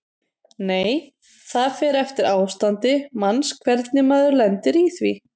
Nei: það fer eftir ástandi manns hvernig maður lendir í því.